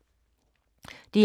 DR K